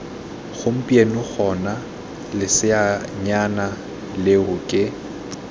gompieno gona leseanyana leo ke